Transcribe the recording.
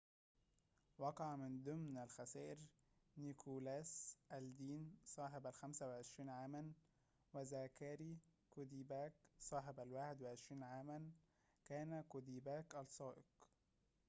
وقع من ضمن الخسائر نيكولاس ألدين صاحب الخمسة وعشرين عاماً وذاكاري كوديباك صاحب الواحد وعشرين عاماً كان كوديباك السائق